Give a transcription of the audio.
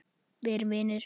Verum vinir.